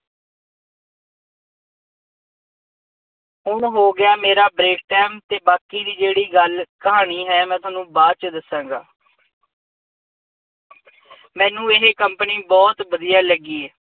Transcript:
ਹੁਣ ਹੋ ਗਿਆ ਮੇਰਾ break time ਅਤੇ ਬਾਕੀ ਦੀ ਜਿਹੜੀ ਗੱਲ ਕਹਾਣੀ ਹੈ, ਮੈਂ ਤੁਹਾਨੂੰ ਬਾਅਦ ਚ ਦੱਸਾਂਗਾ ਮੈਨੂੰ ਇਹ ਕੰਪਨੀ ਬਹੁਤ ਵਧੀਆ ਲੱਗੀ